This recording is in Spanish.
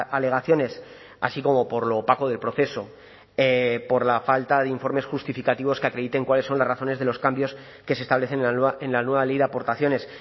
alegaciones así como por lo opaco del proceso por la falta de informes justificativos que acrediten cuáles son las razones de los cambios que se establecen en la nueva ley de aportaciones